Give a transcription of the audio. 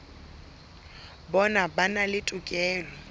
bona ba na le tokelo